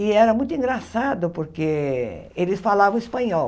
E era muito engraçado, porque eles falavam espanhol.